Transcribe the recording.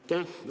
Aitäh!